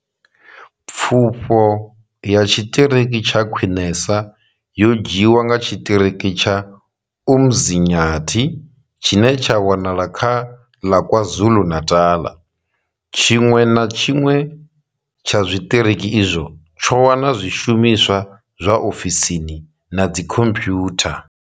Pfufho ya tshiṱiriki tsha khwinesa yo dzhiiwa nga tshiṱiriki tsha Umzinyathi tshine tsha wanala kha ḽa Kwazulu-Natal. Tshiṅwe na tshiṅwe tsha zwiṱiriki izwi tsho wana zwishumiswa zwa ofisini na dzikhompiyutha.